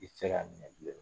I ti se ka minɛ bilen.